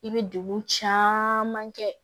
I bɛ degun caman kɛ